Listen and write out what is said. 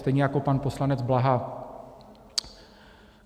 Stejně jako pan poslanec Blaha.